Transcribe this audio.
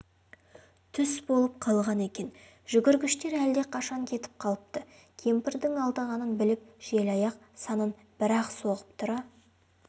түс болып қалған екен жүгіргіштер әлдеқашан кетіп қалыпты кемпірдің алдағанын біліп желаяқ санын бір-ақ соғып тұра